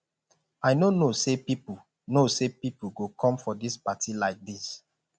i no know say people know say people go come for dis party like dis